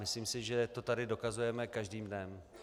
Myslím si, že to tady dokazujeme každým dnem.